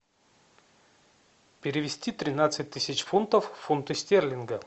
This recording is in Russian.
перевести тринадцать тысяч фунтов в фунты стерлинга